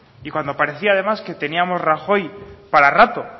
y cuando parecía además que teníamos rajoy para rato